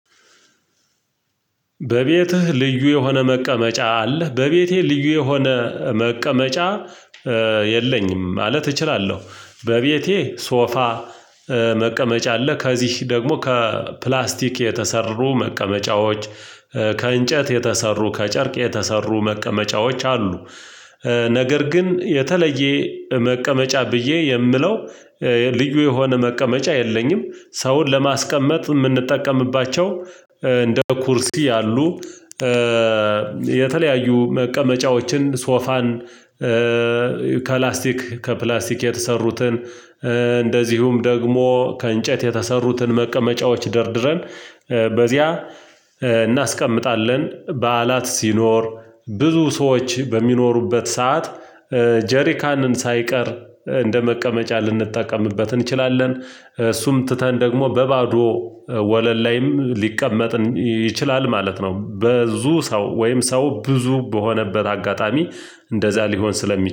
በቤትህ ልዩ የሆነ መቀመጫ አለህ? በቤቴ ልዩ የሆነ መቀመጫ የለኝም ማለት እችላለሁ፤ በቤቴ ሶፋ መቀመጫ አለ ከዚህ ደግሞ ከፕላስቲክ የተሰሩ መቀመጫዎች ከእንጨት የተሰሩ፣ ከጨርቅ የተሰሩ፣ መቀመጫዎች አሉ፤ ነገር ግን የተለየ መቀመጫ ብዬ የምለው ልዩ የሆነ መቀመጫ የለኝም። ሰውን ለማስቀመጥ የምንጠቀምባቸው እንደ ኩርሲ ያሉ የተለያዩ መቀመጫዎችን ሶፋን ከላስቲክ ከፕላስቲክ የተሰሩትን እንደዚሁም ደግሞ ከእንጨት የተሰሩትን መቀመጫዎች ደርድረን በዚያ እናስቀምጣለን፤ በዓላት ሲኖር ብዙ ሰዎች በሚኖሩበት ሰዓት ጀሪካንን ሳይቀር እንደመቀመጫ ልንጠቀምበት እንችላለን፤ እሱም ትተን ደግሞ በባዶ ወለል ላይም ሊቀመጥ ይችላል ማለት ነው፤ በዙ ሰው ወይም ሰው ብዙ በሆነበት አጋጣሚ እንደዛ ሊሆን ስለሚ